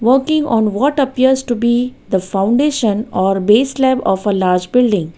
working on what appears to be the foundation or base lab of a large building.